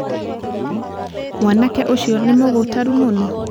Mwanake ũcio nĩ mũgũtaru mũno?